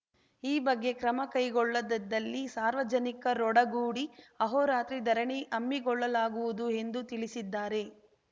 ಈ ಬಗ್ಗೆ ಕ್ರಮ ಕೈಗೊಳ್ಳದಿದ್ದಲ್ಲಿ ಸಾರ್ವಜನಿಕರೊಡಗೂಡಿ ಅಹೋರಾತ್ರಿ ಧರಣಿ ಹಮ್ಮಿಕೊಳ್ಳಲಾಗುವುದು ಎಂದು ತಿಳಿಸಿದ್ದಾರೆ